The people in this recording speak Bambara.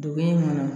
Dugu in kɔnɔ